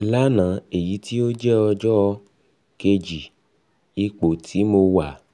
lana (eyiti o jẹ ọjọ um keji ipo ti mo wa)